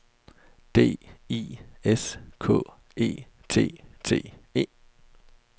D I S K E T T E